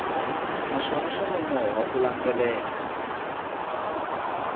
naswona swa nonoha ku landzelela